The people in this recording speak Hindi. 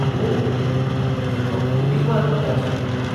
ओह! यह तो अनूठी बात पता चली।